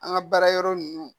An ka baara yɔrɔ ninnu